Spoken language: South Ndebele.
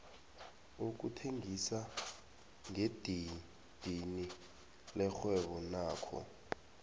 ukuthengisa ngedidini lirhwebo nakho